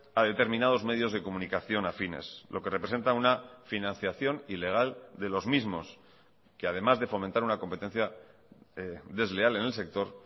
a determinados medios de comunicación afines lo que representa una financiación ilegal de los mismos que además de fomentar una competencia desleal en el sector